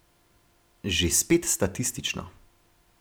Že spet statistično.